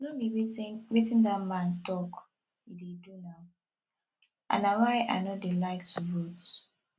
no be wetin wetin dat man talk he dey do now and na why i no dey like to vote